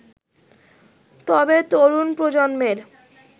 তবে, তরুণ প্রজন্মের